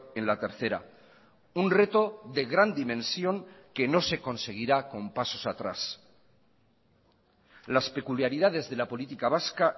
en la tercera un reto de gran dimensión que no se conseguirá con pasos atrás las peculiaridades de la política vasca